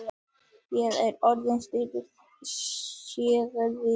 Ég er orðinn þreyttur sagði